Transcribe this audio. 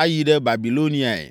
ayi ɖe Babiloniae.”